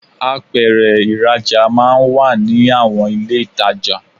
Apèrè ìrajà máa n wà ní àwon ilé itajo